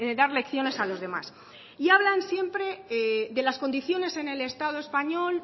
dar lecciones a los demás y hablan siempre de las condiciones en el estado español